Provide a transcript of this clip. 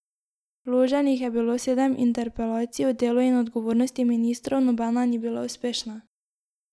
Vloženih je bilo sedem interpelacij o delu in odgovornosti ministrov, nobena ni bila uspešna.